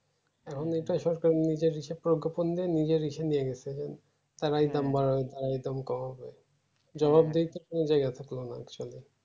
এখন এটা সরকার নিজের হিসেবে করে গোপন দিয়ে নিজের ইসে নিয়ে গেছে তারাই দাম বাড়াবে তারাই দাম কমাবে জবাবদিহি কোনো জায়গায় থাকলোনা actually